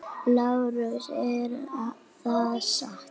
LÁRUS: Er það satt?